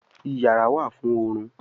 iyàrá wá fún orun.